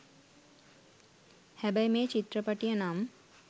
හැබැයි මේ චිත්‍රපටිය නම්